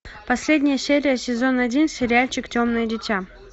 последняя серия сезон один сериальчик темное дитя